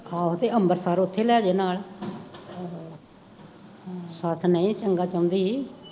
ਆਹੋ ਤੇ ਅੰਬਰਸਰ ਓਥੇ ਲੈਜੇ ਨਾਲ ਸਾਥ ਨਈਂ ਚੰਗਾ ਚਾਉਂਦੀ